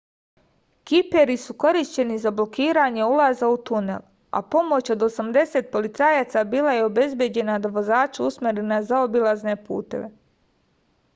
kiperi su korišćeni za blokiranje ulaza u tunel a pomoć od 80 policajaca bila je obezbeđena da vozače usmeri na zaobilazne puteve